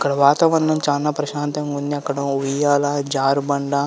ఇక్కడ వాతావరణం చానా ప్రశాంతంగా ఉంది. అక్కడ ఉయ్యాల జారుబండ.